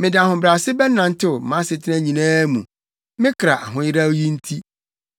Mede ahobrɛase bɛnantew mʼasetena nyinaa mu me kra ahoyeraw yi nti.